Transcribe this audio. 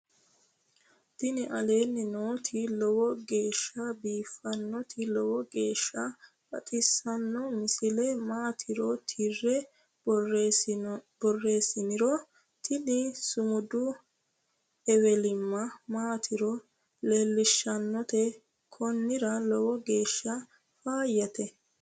tini aleenni nooti lowo geeshsha biiffinnoti lowo geeshsha baxissanno misile maatiro tirre borreessiniro tini sumudu ewelimma maatiro lellishshannote konnira lowo geeshsha faayyate